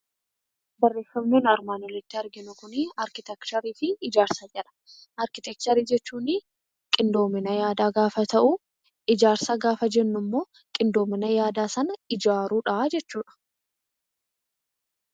Barreeffamni nuyi armaan olitti arginu kuni 'Arkiteekcharii fi Ijaarsa' jedha. Arkiteekcharii jechuun qindoomina yaadaa gaafa ta'u, Ijaarsa gaafa jennu immoo qindoomina yaadaa sana ijaaruu dha jechuu dha.